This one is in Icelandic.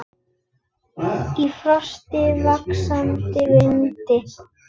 Í frosti, vaxandi vindi.